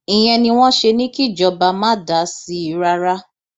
ìyẹn ni wọn ṣe ní kíjọba má dá sí i rárá